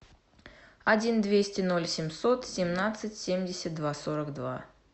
один двести ноль семьсот семнадцать семьдесят два сорок два